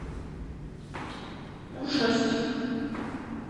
ужастик